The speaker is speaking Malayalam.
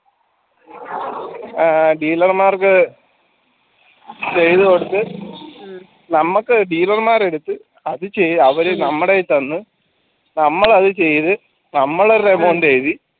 ഏർ dealer മാർക്ക് ചെയ്തുകൊടുത്തു നമുക്ക് dealer മാർ എടുത്ത് ഇത് ചെയ്യാൻ അവരെ നമ്മുടെ കയ്യിതന്ന നമ്മൾ അത് ചെയ്തു നമ്മള്